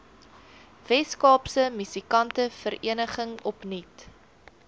weskaapse musikantevereniging opnuut